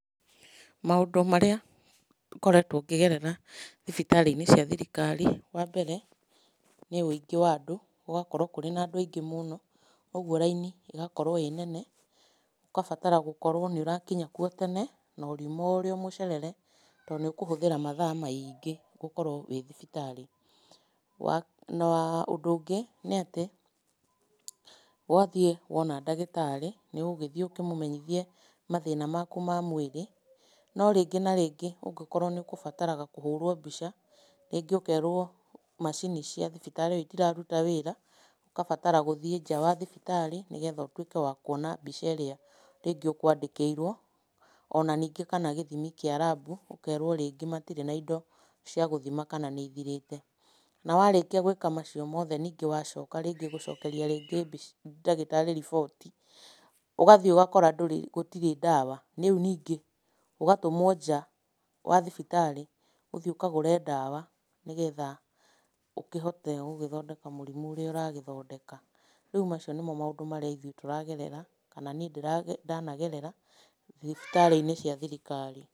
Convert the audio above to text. Maũndũ marĩa ngoretwo ngĩgerera thibitarĩ-inĩ cia thirikari, wa mbere , nĩ ũingĩ wa andũ, gũgakorwo kũrĩ na andũ aingĩ mũno, ũgwo raini ĩgakorwo ĩ nene , ũkabatara gũkorwo nĩ ũrakinya kuo tene no ũrĩuma ũrĩo mũcerere tondũ nĩ ũkũhũthĩra mathaa maingĩ gũkorwo wĩ thibitari. Ũndũ ũngĩ nĩ atĩ wathiĩ wona ndagĩtarĩ , nĩ ũgũgĩthiĩ ũkĩmũmenyithie mathĩna maku ma mwĩrĩ, no rĩngĩ na rĩngĩ ũngĩkorwo nĩ ũgũbataraga kũhũrwo mbica, rĩngĩ ũkerwo macini cia thibitarĩ itiraruta wĩra, ũkabatara gũthiĩ nja wa thibitarĩ nĩgetha ũtwĩke wa kuona mbica iria rĩngĩ ũkwandĩkĩirwo, ona ningĩ kana gĩthimi kĩa rabu, ũkerwo rĩngĩ matirĩ na indo cia gũthima kana nĩ ithirĩte , na warĩkia gwĩka macio mothe ningĩ wathiĩ gũcokeria mbica ndagĩtarĩ riboti , ũgathiĩ ũgakorwo gũtirĩ ndawa, riu ningĩ ũgatumwo nja wa thibitarĩ , ũthiĩ ũkagũre ndawa nĩgetha ũkĩhote gũgĩthondeka mũrimũ ũrĩa ũragĩthondeka, rĩu macio nĩmo maũndũ marĩa ithuĩ tũrathondeka kana niĩ ndanagerera thibitarĩ-inĩ cia thirikari.